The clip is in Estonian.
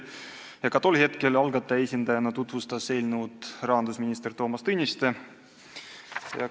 Ka siis tutvustas eelnõu algataja esindajana rahandusminister Toomas Tõniste.